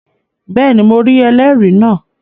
Bẹ́ẹ̀ni, mo rí ẹlẹ́rìí náà